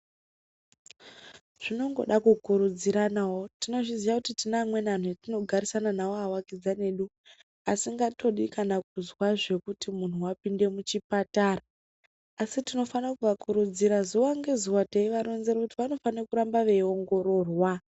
Zvinongoda kukurudziranawo tinozviziya kuti tine vamweni anhu atinogarisana nawo awakidzani edu asingatodi kuzwa kuti muntu wapinde muchipatara asi tinofanire kuvakurudzira zuwa nge zuwa teivaronzere kuti vanofanire kuramba veiongororwa.